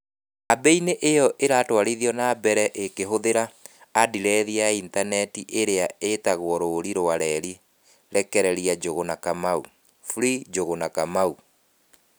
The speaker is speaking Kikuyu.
Kambĩini ĩ yo ĩratwarithio na mbere ĩ kĩhũthĩra andirethi ya initaneti ĩrĩa ĩĩtagwo rũũri rwa reri rekereria NjũgũnaKamau (#FreeNjũgũnaKamau)